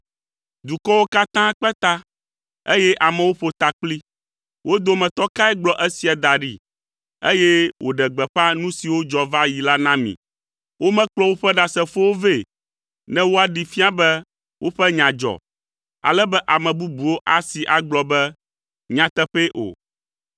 Dukɔwo katã kpe ta, eye amewo ƒo takpli. Wo dometɔ kae gblɔ esia da ɖi, eye wòɖe gbeƒã nu siwo dzɔ va yi la na mi? Womekplɔ woƒe ɖasefowo vɛ, ne woaɖee fia be woƒe nya dzɔ, ale be ame bubuwo asee agblɔ be, “Nyateƒee” o.